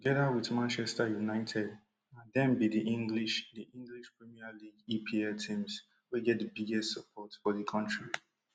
togeda wit manchester united na dem be di english di english premier league epl teams wey get di biggest support for di kontri